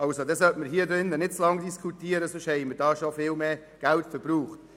Darüber sollte man nicht zu lange diskutieren, sonst haben wir bereits viel mehr Gelder verbraucht.